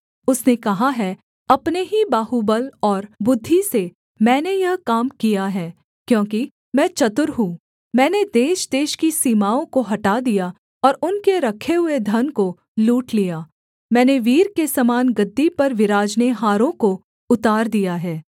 उसने कहा है अपने ही बाहुबल और बुद्धि से मैंने यह काम किया है क्योंकि मैं चतुर हूँ मैंने देशदेश की सीमाओं को हटा दिया और उनके रखे हुए धन को लूट लिया मैंने वीर के समान गद्दी पर विराजनेहारों को उतार दिया है